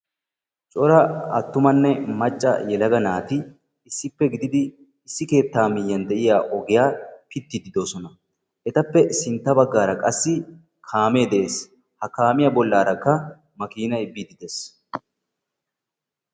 Cora aattumanne macca yelaga naati issippe gididi issi keettaa miyyiyan de'iya ogiya pittiiddi doosona. Etappe sintta baggaara qassi kaamee de'es. Ha kaamiya bollaarakka makiinay biiddi des.